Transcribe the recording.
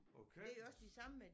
Og kalkens